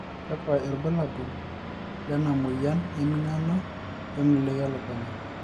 kakua irbulabol lena moyian e mingano we miloi elukunya?